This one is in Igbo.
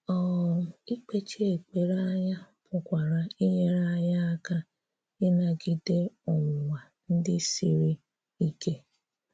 um Ikpéchi ekperé anyà pụkwarà inyerè anyị àka ịnagidè ọnwụ̀nwà ndị̀ siri ike.